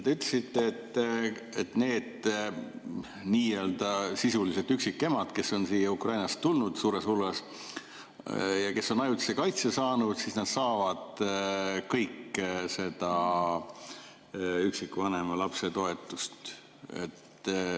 Te ütlesite, et need nii-öelda sisuliselt üksikemad, kes on siia Ukrainast tulnud suures hulgas ja kes on ajutise kaitse saanud, saavad kõik seda üksikvanema lapse toetust.